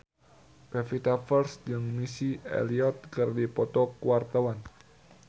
Pevita Pearce jeung Missy Elliott keur dipoto ku wartawan